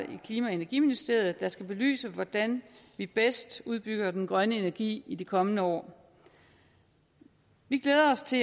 i klima og energiministeriet der skal belyse hvordan vi bedst udbygger den grønne energi i de kommende år vi glæder os til